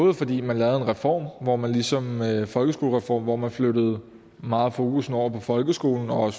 er fordi man lavede en reform hvor man lige som med folkeskolereformen flyttede meget fokus over på folkeskolen og